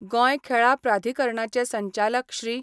गोंय खेळां प्राधिकरणाचे संचालक श्री.